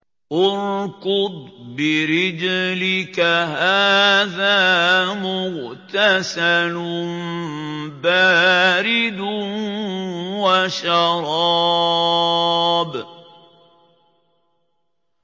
ارْكُضْ بِرِجْلِكَ ۖ هَٰذَا مُغْتَسَلٌ بَارِدٌ وَشَرَابٌ